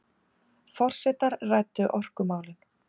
Forsetar ræddu orkumálin